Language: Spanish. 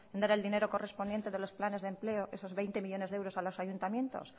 no era el dinero correspondiente de los planes de empleo esos veinte millónes de euros a los ayuntamientos